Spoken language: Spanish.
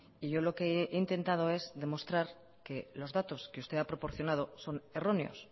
y yo lo que he intentado es demostrar que los datos que usted ha proporcionado son erróneos